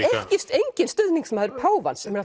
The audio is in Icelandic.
enginn stuðningsmaður páfans sem er